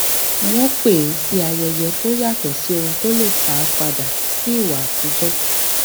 wọn pè é sí ayẹyẹ tó yàtọ sí ohun tó le fa padà sí ìwà àtijọ